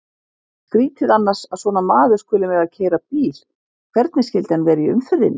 Skrýtið annars að svona maður skuli mega keyra bíl, hvernig skyldi hann vera í umferðinni?